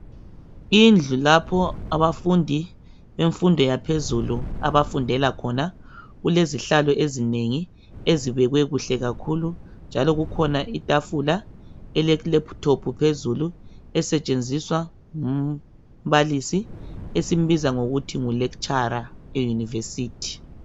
indlu lapho abafundi bemfundo yaphezulu abafundela khona kulezihlalo ezinengi ezibekwe kuhle kakhulu njalo kukhonja itafula ele laptop phezulu esetshenziswa ngumbalisi esimbiza ngokuthi ngu lecturer e university